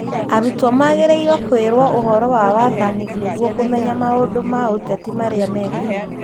Arutwo magĩrĩirwo kũĩrwo ũhoro wa wathani nĩguo kũmenya maũndũ ma ũteti marĩa maĩkuo